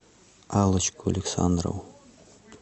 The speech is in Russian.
аллочку александрову